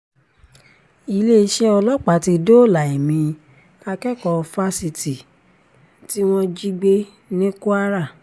iléeṣẹ́ ọlọ́pàá ti dóòlà ẹ̀mí akẹ́kọ̀ọ́ fásitì tí wọ́n jí gbé ní kwara